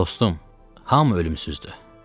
Dostum, hamı ölümsüzdür.